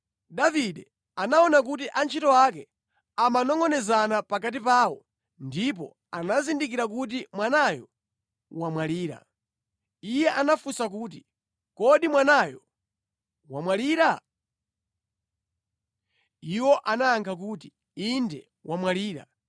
Davide anaona kuti antchito ake amanongʼonezana pakati pawo ndipo anazindikira kuti mwanayo wamwalira. Iye anafunsa kuti, “Kodi mwanayo wamwalira?” Iwo anayankha kuti, “Inde wamwalira.”